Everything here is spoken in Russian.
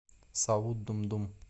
саут думдум